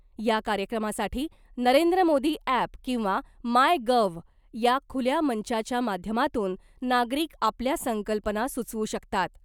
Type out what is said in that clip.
या कार्यक्रमासाठी नरेंद्र मोदी ॲप किंवा मायगव्ह या खुल्या मंचाच्या माध्यमातून नागरिक आपल्या संकल्पना सूचवू शकतात .